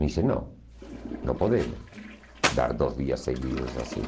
Me disse, não, não podemos dar dois dias seguidos assim.